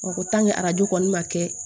Ɔ arajo kɔni ma kɛ